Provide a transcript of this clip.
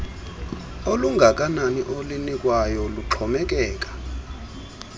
olungakanani olunikwayo luxhomekeka